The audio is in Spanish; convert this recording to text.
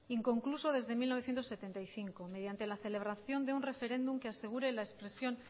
inconcluso desde mil novecientos setenta y cinco mediante la celebración de un referéndum que asegure la expresión